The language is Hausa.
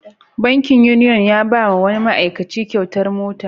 Bankin Union ya ba wa wani ma'aikaci kyautar mota.